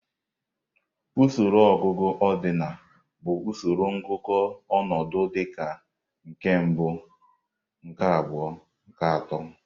Usoro ọgụgụ ọdịnal bụ usoro ngụkọ ọnọdụ dịka nke mbụ, nke abụọ, nke atọ.